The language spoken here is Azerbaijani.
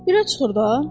Bura çıxır da.